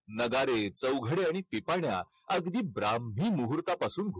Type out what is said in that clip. नगारे, चौघडे आणि पिपाण्या अगदी ब्राम्हणी मुहूर्तापासून